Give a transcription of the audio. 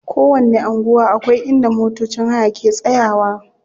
Kowanni anguwa akwai inda motocin haya ke tsayawa.